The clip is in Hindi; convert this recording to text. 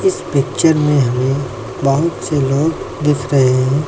इस पिक्चर में हमें बहुत से लोग दिख रहे हैं।